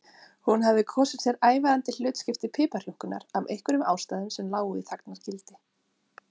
Hún hafði kosið sér ævarandi hlutskipti piparjúnkunnar af einhverjum ástæðum sem lágu í þagnargildi.